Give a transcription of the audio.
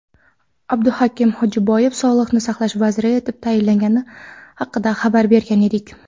Abduhakim Hojiboyev Sog‘liqni saqlash vaziri etib tayinlangani haqida xabar bergan edik.